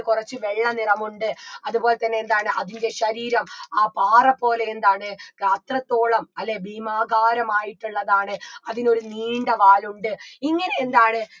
കൊറച്ച് വെള്ള നിറമുണ്ട് അത്പോലെ തന്നെ എന്താണ് അതിൻറെ ശരീരം ആഹ് പാറപോലെ എന്താണ് അത്രത്തോളം അല്ലെ ഭീമാകാരമായിട്ടുള്ളതാണ് അതിനൊരു നീണ്ട വാലുണ്ട് ഇങ്ങനെയെന്താണ്